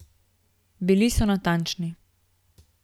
Bili so natančni.